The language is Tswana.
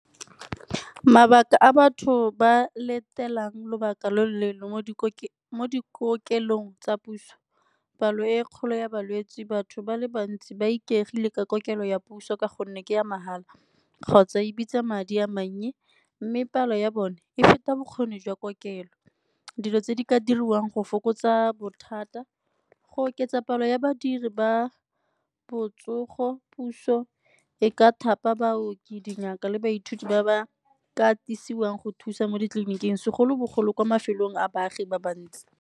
Mabaka a batho ba latelang lobaka lo loleele mo dikokelong tsa puso, palo e kgolo ya balwetse, batho ba le bantsi ba ikaegile ka kokelo ya puso ka gonne ke ya mahala kgotsa e bitsa madi a mannye mme palo ya bone e feta bokgoni jwa kokelo. Dilo tse di ka diriwang go fokotsa bothata, go oketsa palo ya badiri ba botsogo, puso e ka thapa baoki dingaka le baithuti ba ba katisiwang go thusa mo ditleliniking segolobogolo kwa mafelong a baagi ba ba ntsi.